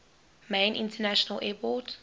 main international airport